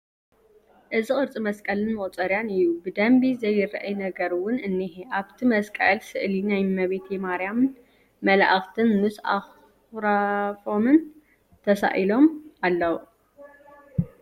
እዚ ቕርፂ መስቐልን መቑፀርያን እዩ ፡ ብደምቢ ዘይረኣይ ነገር'ውን እንሄ ፡ ኣብቲ መስቐል ስእሊ ናይ እመቤቴ ማሪያም ን መላኢክት ምስ ኣኽራፎምን ተሳኢሎም ኣለዉ ።